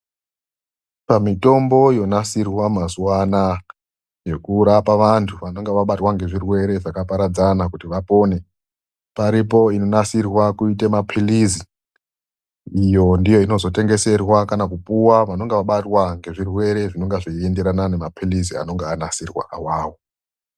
Pamitombo yonasirwa mazuwa anaa yokurapa vantu vanonga vabatwa ngezvirwere zvakaparadzana kuti vapone, paripo inonasirwa kuite mapilizi, iyo ndiyo inozotengeserwa kana kupuwa vanonga vabatwa ngezvirwere zvinonga zveienderana nemapilizi anonga anasirwa awawo